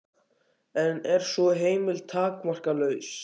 En er sú heimild takmarkalaus?